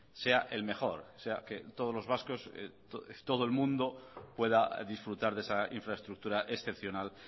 sea el mejor o sea que todos los vascos y todo el mundo pueda disfrutar de esa infraestructura excepcional